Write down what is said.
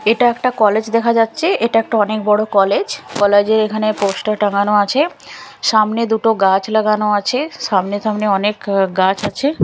এটা একটা কলেজ দেখা যাচ্ছে এটা একটা অনেক বড় কলেজ কলেজ -এর এখানে পোস্টার টাঙ্গানো আছে সামনে দুটো গাছ লাগানো আছে সামনে সামনে অনেক গাছ আছে।